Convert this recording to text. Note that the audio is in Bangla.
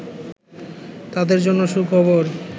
তাদের জন্য সুখবর